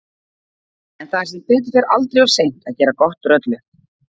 En það er sem betur fer aldrei of seint að gera gott úr öllu.